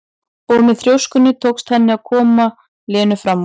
Og með þrjóskunni tókst henni loks að koma Lenu fram úr.